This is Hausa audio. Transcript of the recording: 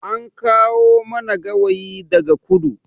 An kawo mana gawayi daga kudu